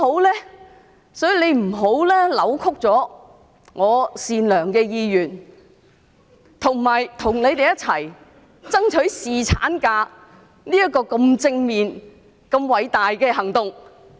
他不應扭曲我善良的意願，以及我與他們一起爭取侍產假這項如此正面和偉大的行動。